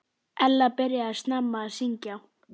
Ekkert gæti verið fjær sanni.